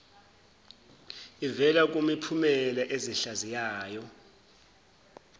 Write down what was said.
ivela kumiphumela ezihlaziyayo